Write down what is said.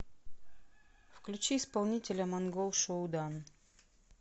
включи исполнителя монгол шуудан